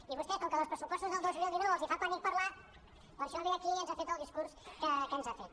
i a vostès com que dels pressupostos del dos mil dinou els fa pànic parlar·ne per això ve aquí i ens ha fet el discurs que ens ha fet